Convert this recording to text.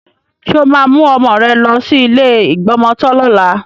Ṣé o máa mú ọmọ rẹ lọ sí ilé ìgbọmọtọ́ lọ́la?